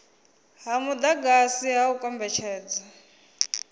ha mudagasi ha u kombetshedza